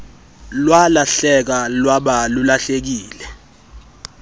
lwalahleka lwaba lulahlekile